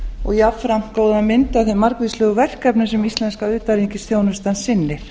og jafnframt góða mynd af þeim margvíslegu verkefnum sem íslenska utanríkisþjónustan sinnir